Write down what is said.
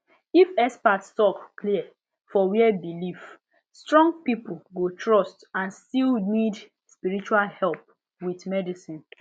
if expert talk clear for where belief strong people go trust and still need spiritual help with medicine